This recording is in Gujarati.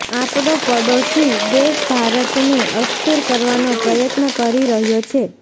આપડો પાડોશી દેશ ભારતને અસ્થિર કરવાનો પ્રયત્ન કરી રહ્યો છે